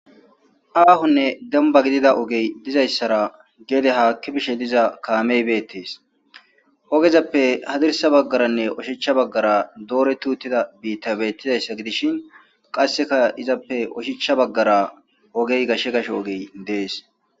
Ahone demban gidida ogey dizaysara gede haki bishe diza kamey betes ogezape hadirsa bagara oshicha bagara doreti utida bitay de'es betizaysi gidishin qase izape oshicha bagara ogey gashe gashe ogey des